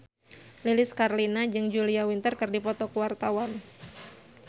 Lilis Karlina jeung Julia Winter keur dipoto ku wartawan